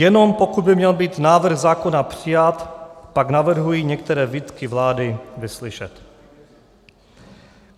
Jenom pokud by měl být návrh zákona přijat, tak navrhuji některé výtky vlády vyslyšet.